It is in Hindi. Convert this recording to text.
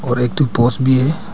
और एक ठो पोस भी है।